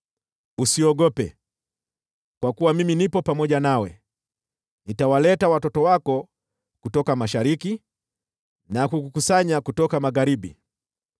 Usiogope, kwa kuwa mimi nipo pamoja nawe, nitawaleta watoto wako kutoka mashariki, na kukukusanya kutoka magharibi.